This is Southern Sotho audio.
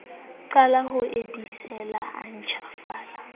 qale ho ebesela a ntjhafale